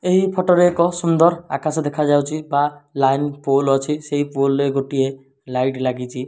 ଏହି ଫଟୋ ରେ ଏକ ସୁନ୍ଦର ଆକାଶ ଦେଖାଯାଉଚି ବା ଲାଇନ ପୂଲ୍ ଅଛି ସେହି ପୁଲ ରେ ଗୋଟିଏ ଲାଇଟ୍ ଲାଗିଚି।